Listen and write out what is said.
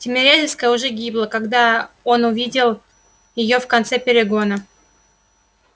тимирязевская уже гибла когда он увидел её в конце перегона